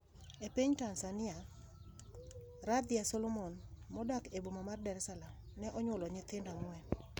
E piny Tanzania, Radhia Solomon, modak e boma ma Dar es Salaam, ne onyuolo nyithindo ang'wen.